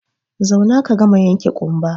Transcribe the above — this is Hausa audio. Zauna ka gama yanke ƙumba!